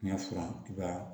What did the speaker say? N y'a furan i ka